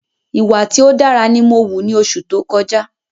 Ìwà tí ó dára ni mó wù ni oṣù tó kọjá